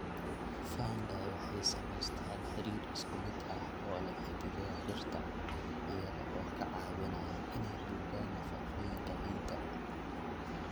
Fungi waxay sameystaan xiriir isku mid ah oo leh xididdada dhirta, iyaga oo ka caawinaya inay nuugaan nafaqooyinka ciidda.